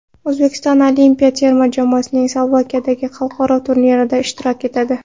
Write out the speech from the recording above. O‘zbekiston olimpiya terma jamoasi Slovakiyadagi xalqaro turnirda ishtirok etadi.